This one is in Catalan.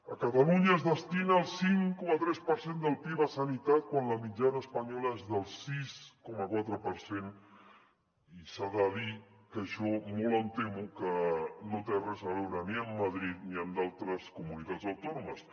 a catalunya es destina el cinc coma tres per cent del pib a sanitat quan la mitjana espanyola és del sis coma quatre per cent i s’ha de dir que això molt em temo que no té res a veure ni amb madrid ni amb d’altres comunitats autònomes